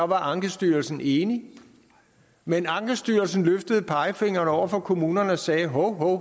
var ankestyrelsen enig men ankestyrelsen løftede pegefingeren over for kommunerne og sagde hov hov